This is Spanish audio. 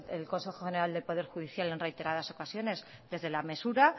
el consejo general del poder judicial en reiteradas ocasiones desde la mesura